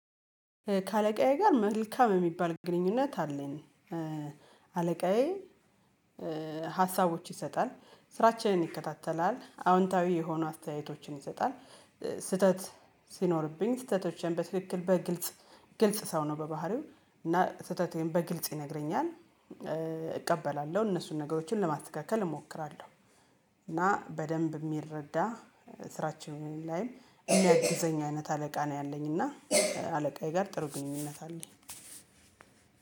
ከአለቃዬ ጋር መልካም የሚባል ግንኙነት አለኝ። አለቃዬ ሀሳቦች ይሰጣል፣ ስራችንን ይከታተላል፣ አዎንታዊ የሆኑ አስተያየቶችን ይሰጣል፣ ስህተት ሲኖርብኝ ስህተቶችን በትክክል በግልጽ ግልጽ ሰው ነው በባህሪው እና ስህተቴን በግልጽ ይነግረኛል፣ እቀበላለሁ እነሱን ነገሮችን ለማተካከል እሞክራለሁ። እና በደንብ የሚረዳ ስራችን ላይም የሚያግዘኝ አይነት አለቃ ነኝ ያለኝ እና አለቃዬ ጋር ጥሩ ግንኙነት አለኝ።